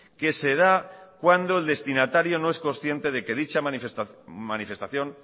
que se da cuando el destinatario no es consciente de que dicha manifestación